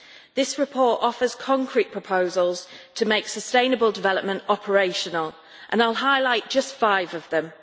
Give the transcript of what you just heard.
This report offers concrete proposals to make sustainable development operational, and I will highlight just five of them.